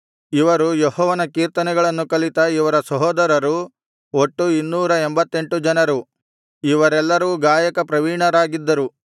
ಇವರು ಯೆಹೋವನ ಕೀರ್ತನೆಗಳನ್ನು ಕಲಿತ ಇವರ ಸಹೋದರರು ಒಟ್ಟು ಇನ್ನೂರ ಎಂಭತ್ತೆಂಟು ಜನರು ಇವರೆಲ್ಲರೂ ಗಾಯಕ ಪ್ರವೀಣರಾಗಿದ್ದರು